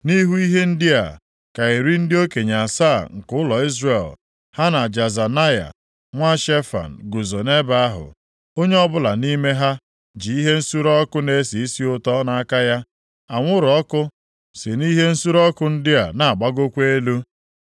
Nʼihu ihe ndị a, ka iri ndị okenye asaa nke ụlọ Izrel, ha na Jaazanaya nwa Shefan guzo nʼebe ahụ. Onye ọbụla nʼime ha ji ihe nsure ọkụ na-esi isi ụtọ nʼaka ya, anwụrụ ọkụ si nʼihe nsure ọkụ ndị a na-agbagokwa elu.